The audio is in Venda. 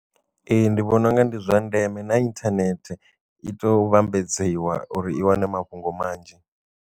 Ee ndi vhona unga ndi zwa ndeme na inthanethe i to vhambadziwa uri i wane mafhungo manzhi.